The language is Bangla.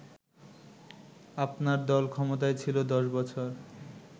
আপনার দল ক্ষমতায় ছিল ১০ বছর